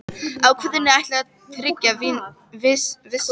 Ákvæðinu er ætlað að tryggja vissa minnihlutavernd.